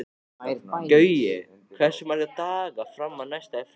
Gaui, hversu margir dagar fram að næsta fríi?